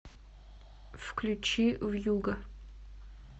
включи вьюга